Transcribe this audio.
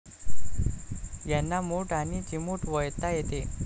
यांना मूठ आणि चिमूट वळता येते.